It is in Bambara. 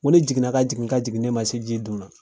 N ko ne jiginna ka jigin ka jigin ne ma se ji dugumala la